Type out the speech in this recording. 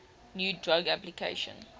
new drug application